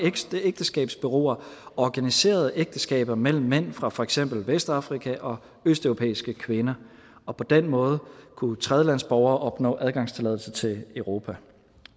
ægteskabsbureauer organiserede ægteskaber mellem mænd fra for eksempel vestafrika og østeuropæiske kvinder og på den måde kunne tredjelandsborgere opnå adgangstilladelse til europa